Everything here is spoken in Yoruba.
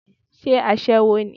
Sé aṣẹ́wó ni?